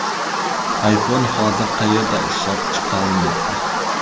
iPhone hozir qayerda ishlab chiqarilmoqda?